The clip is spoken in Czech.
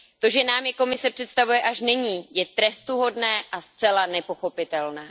To, že nám je Komise představuje až nyní, je trestuhodné a zcela nepochopitelné.